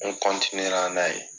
N la n'a ye.